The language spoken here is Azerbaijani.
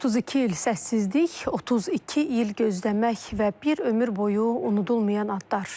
32 il səssizlik, 32 il gözləmək və bir ömür boyu unudulmayan atlar.